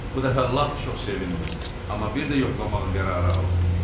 Bu dəfə lap çox sevindi, amma bir də yoxlamağa qərarı aldı.